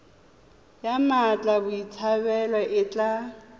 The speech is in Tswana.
ya mmatla botshabelo e tla